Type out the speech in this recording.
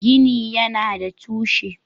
Gini yana da tushe.